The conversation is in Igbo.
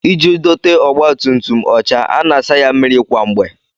Iji dote ọgbatumtum ọcha, a na-asa ya mmiri kwa mgbe